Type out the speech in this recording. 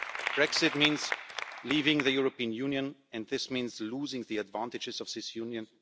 Brexit means leaving the European Union and this means losing the advantages of this Union.